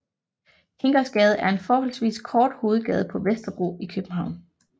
Kingosgade er en forholdsvis kort hovedgade på Vesterbro i København